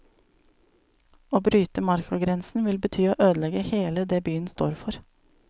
Å bryte markagrensen vil bety å ødelegge hele det byen står for.